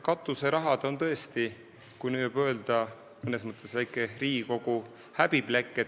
Katuseraha on tõesti, kui nii võib öelda, mõnes mõttes Riigikogu väike häbiplekk.